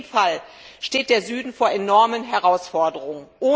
In jedem Fall steht der Süden vor enormen Herausforderungen.